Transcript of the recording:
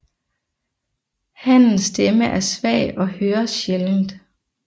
Hannens stemme er svag og høres sjældent